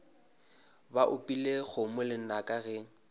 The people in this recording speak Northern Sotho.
ba opile kgomo lenaka ge